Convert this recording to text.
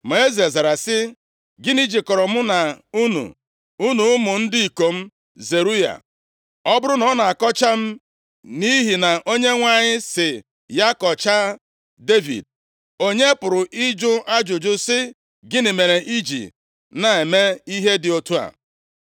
Ma eze zara sị, “Gịnị jikọrọ mụ na unu, unu ụmụ ndị ikom Zeruaya. Ọ bụrụ na ọ na-akọcha m nʼihi na Onyenwe anyị sị ya ‘Kọchaa Devid,’ onye pụrụ ịjụ ajụjụ sị, ‘Gịnị mere ị ji na-eme ihe dị otu a?’ ”